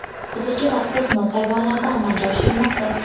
Hozirgi vaqtda sinov hayvonlarda amalga oshirilmoqda.